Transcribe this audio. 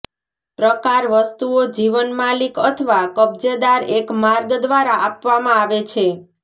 પ્રકાર વસ્તુઓ જીવન માલિક અથવા કબજેદાર એક માર્ગ દ્વારા આપવામાં આવે છે